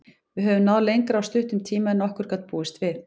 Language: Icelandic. Við höfum náð lengra á stuttum tíma en nokkur gat búist við.